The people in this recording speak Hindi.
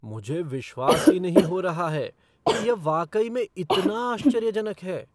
मुझे विश्वास ही नहीं हो रहा है कि यह वाकई में इतना आश्चर्यजनक है!